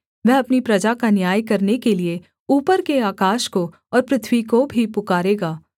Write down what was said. वह अपनी प्रजा का न्याय करने के लिये ऊपर के आकाश को और पृथ्वी को भी पुकारेगा